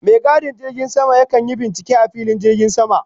Mai gadin filin jirgin sama ya kan yi bincike a filin jirgin sama.